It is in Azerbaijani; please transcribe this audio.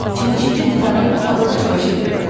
Paltaryuyan Lizabet də var, o da paltar yuyur.